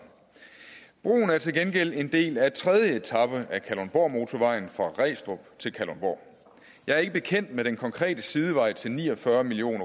broen er til gengæld en del af tredje etape af kalundborgmotorvejen fra regstrup til kalundborg jeg er ikke bekendt med den konkrete sidevej til ni og fyrre million